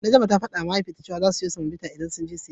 Najma ta fadawa Mahaifiyarta cewa zasu siyo semobita idan sun je siyayya.